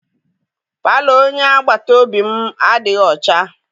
Palọ onye agbata obi m adịghị ọcha.